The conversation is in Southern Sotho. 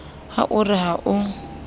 ha o re ha o